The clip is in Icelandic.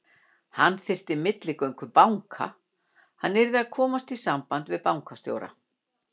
Hann þyrfti milligöngu banka, hann yrði að komast í samband við bankastjóra.